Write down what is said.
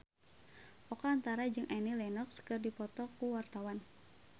Oka Antara jeung Annie Lenox keur dipoto ku wartawan